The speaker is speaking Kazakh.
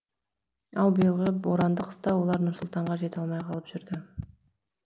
ал биылғы боранды қыста олар нұр сұлтанға жете алмай қалып жүрді